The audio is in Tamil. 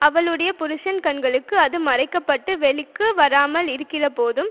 அவளுடைய புருஷன் கண்களுக்கு அது மறைக்க பட்டு வெளிக்கு வராமல் இருக்கிறபோதும்